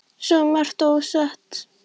Svo margt ósagt og ógert.